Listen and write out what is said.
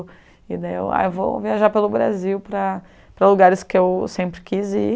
E daí eu, ai, vou viajar pelo Brasil para para lugares que eu sempre quis ir.